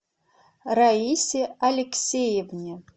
раисе алексеевне